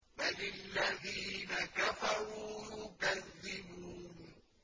بَلِ الَّذِينَ كَفَرُوا يُكَذِّبُونَ